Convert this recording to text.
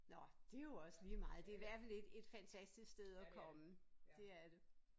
Nå det er jo også ligemeget det er i hvert fald et et fantastisk sted at komme det er det